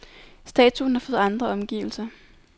Statuen har fået andre omgivelser.